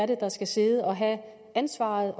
det er der skal sidde og have ansvaret